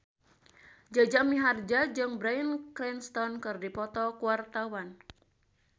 Jaja Mihardja jeung Bryan Cranston keur dipoto ku wartawan